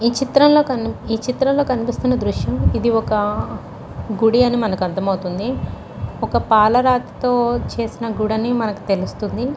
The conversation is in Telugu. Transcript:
ఈ చిత్రంలో ఈ చిత్రంలో కనిపిస్తున్న దృశ్యం ఇది ఒక గుడి అని మనకు అర్థమవుతుంది. ఒక పాలరాతి తో చేసిన గుడి అని మనకు తెలుస్తుంది.